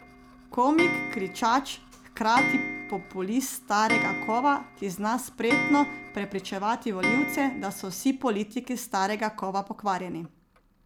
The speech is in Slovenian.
Komik, kričač, hkrati populist starega kova, ki zna spretno prepričevati volivce, da so vsi politiki starega kova pokvarjeni.